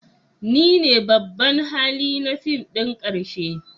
Ni ne babban hali na fim ɗin ƙarshe